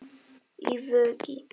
Í Vogi.